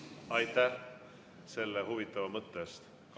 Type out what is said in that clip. Aitäh selle huvitava mõtte eest!